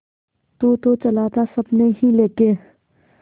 तू तो चला था सपने ही लेके